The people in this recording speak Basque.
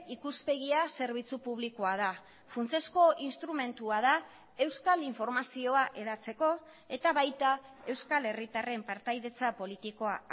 ikuspegia zerbitzu publikoa da funtsezko instrumentua da euskal informazioa hedatzeko eta baita euskal herritarren partaidetza politikoa